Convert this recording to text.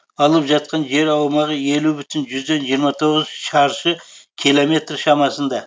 алып жатқан жер аумағы елу бүтін жүзден жиырма тоғыз шаршы километр шамасында